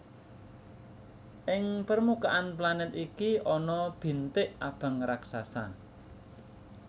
Ing permukaan planet iki ana bintik abang raksasa